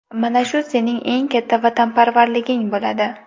Mana shu sening eng katta vatanparvarliging bo‘ladi.